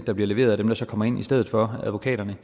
der bliver leveret af dem der så kommer ind i stedet for advokaterne